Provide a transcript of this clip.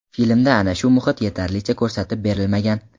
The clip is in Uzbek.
Filmda ana shu muhit yetarlicha ko‘rsatib berilmagan.